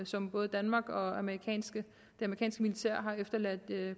som både danmark og amerikanske militær har efterladt